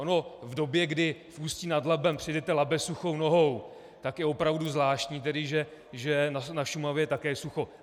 Ono v době, kdy v Ústí nad Labem přejdete Labe suchou nohou, tak je opravdu zvláštní tedy, že na Šumavě je také sucho.